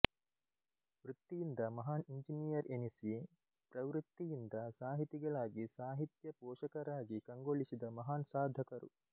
ವೃತ್ತಿಯಿಂದ ಮಹಾನ್ ಇಂಜಿನಿಯರ್ ಎನಿಸಿ ಪ್ರವೃತ್ತಿಯಿಂದ ಸಾಹಿತಿಗಳಾಗಿ ಸಾಹಿತ್ಯ ಪೋಷಕರಾಗಿ ಕಂಗೊಳಿಸಿದ ಮಹಾನ್ ಸಾಧಕರು